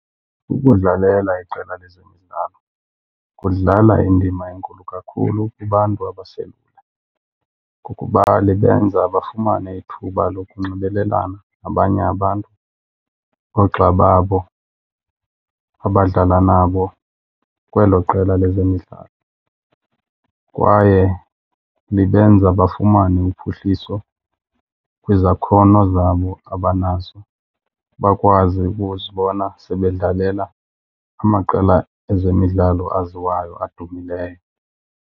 Ukudlalela iqela lezemidlalo kudlala indima enkulu kakhulu kubantu abaselula ngokuba lubenza bafumane ithuba lokunxibelelana nabanye abantu, noogxa babo abadlala nabo kwelo qela lezemidlalo. Kwaye libenza bafumane uphuhliso kwizakhono zabo abanazo, bakwazi ukuzibona sebedlalela amaqela ezemidlalo awaziwayo adumileyo.